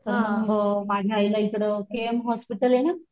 तर मग माझ्या आईला इकडं के एम हॉस्पिटल ना,